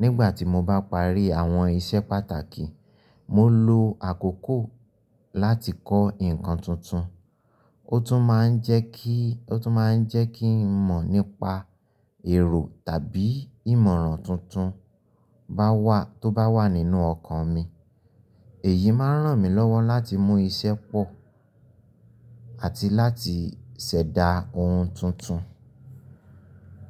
Nígbà tí mo bá parí àwọn iṣẹ́ pàtàkì, mo lo àkókò láti kọ́ nǹkan tuntun. Ó tún máa ń jẹ́ kí n mọ̀ nípa èrò tàbí ìmọ̀ràn tuntun tó bá wà nínú ọkàn mi. Èyí máa ń ràn mí lọ́wọ́ láti mú iṣẹ́ pọ̀ àti láti ṣẹ̀dá ohun tuntun.